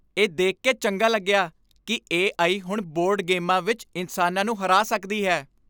ਇਹ ਦੇਖ ਕੇ ਚੰਗਾ ਲੱਗਿਆ ਕਿ ਏ.ਆਈ. ਹੁਣ ਬੋਰਡ ਗੇਮਾਂ ਵਿੱਚ ਇਨਸਾਨਾਂ ਨੂੰ ਹਰਾ ਸਕਦੀ ਹੈ।